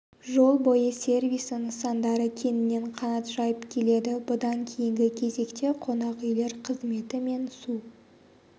жол бойы сервисі нысандары кеңінен қанат жайып келеді бұдан кейінгі кезекте қонақүйлер қызметі мен су